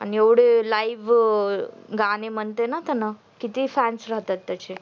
आणि एवहडे live गाणे म्हंटले न त्याने ते fans राहतात त्याचे